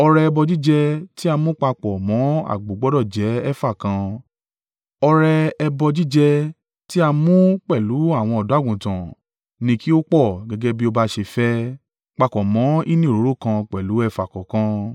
Ọrẹ ẹbọ jíjẹ tí a mú papọ̀ mọ́ àgbò gbọdọ̀ jẹ́ efa kan, ọrẹ ẹbọ jíjẹ tí a mú pẹ̀lú àwọn ọ̀dọ́-àgùntàn ni kí ó pò gẹ́gẹ́ bí ó bá ṣe fẹ́, papọ̀ mọ hínì òróró kan pẹ̀lú efa kọ̀ọ̀kan.